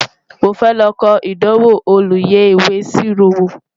mọ fẹ ló kò ìdánwò olú yé ìwé ìṣirò wò